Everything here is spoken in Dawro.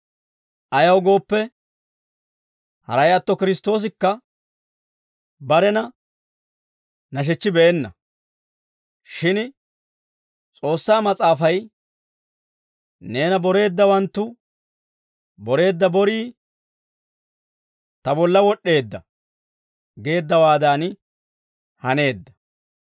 Ayaw gooppe, haray atto Kiristtoosikka barena nashechchibeenna. Shin S'oossaa Mas'aafay, «Neena boreeddawanttu boreedda borii ta bolla wod'd'eedda» geeddawaadan haneedda.